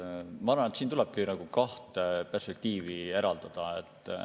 Ma arvan, et siin tulebki kahte perspektiivi eraldada.